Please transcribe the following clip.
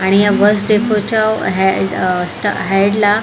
आणि या बस डेफोच्या हेड अ हेडला --